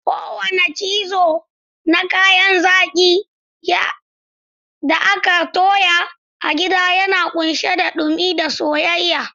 Kowane cizo na kayan zaki da aka toya a gida yana kunshe da dumi da soyayya.